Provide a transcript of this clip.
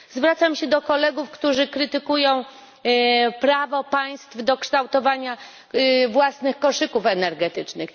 Zwracam się do kolegów, którzy krytykują prawo państw do kształtowania własnych koszyków energetycznych.